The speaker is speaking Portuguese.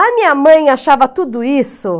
A minha mãe achava tudo isso.